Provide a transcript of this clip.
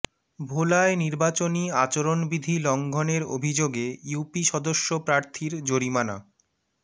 ভোলায় নির্বাচনী আচরণবিধি লংঘণের অভিযোগে ইউপি সদস্য প্রার্থীর জরিমানা